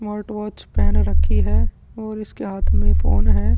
Smart watch पेहन रखी है और इसके हाथ में फ़ोन है ।